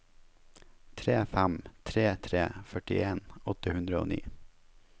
tre fem tre tre førtien åtte hundre og ni